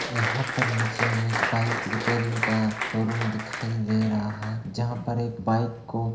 यहां पर मुझे एक बाइक रिपेयरिंग का शोरूम दिखाई दे रहा है जहां पर एक बाइक को --